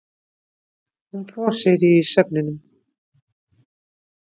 Hún brosir í svefninum.